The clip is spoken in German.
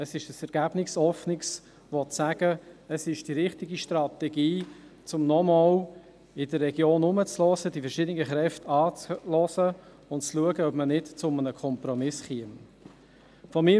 Es ist ein ergebnisoffenes Verfahren, will sagen, es ist die richtige Strategie, um sich nochmals in der Region umzuhören, die verschiedenen Kräfte anzuhören und zu schauen, ob man zu einem Kompromiss kommt.